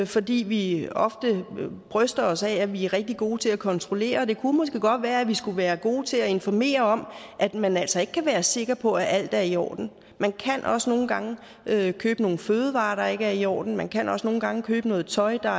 fordi vi ofte bryster os af at vi er rigtig gode til at kontrollere og det kunne måske godt være at vi skulle være gode til at informere om at man altså ikke kan være sikker på at alt er i orden man kan også nogle gange købe nogle fødevarer der ikke er i orden man kan også nogle gange købe noget tøj der